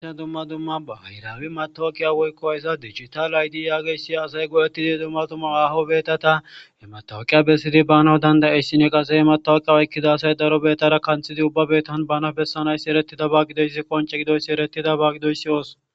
Dumma dumma baahiraawe maththooqiya ayza digitale aydiya yaagessi asay go7eththize dumma dumma haaho beeththatha ha maththaawoqiya besside baanawu dandda7eesinne qassi he maththaawoqiya oykkida asay daro beeththaara kanththidi ubba beeththan bana bessana7issi ereththizaba gideyzi qoncce gidoyissi ereththidaba gidoysiyos.